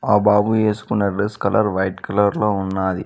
ఆ బాబు ఏసుకున్న డ్రెస్ కలర్ వైట్ కలర్ లో ఉన్నాది.